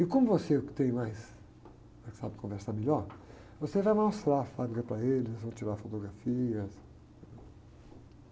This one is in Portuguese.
E como você é o que tem mais, né? Sabe conversar melhor, você vai mostrar a fábrica para eles, vão tirar fotografias.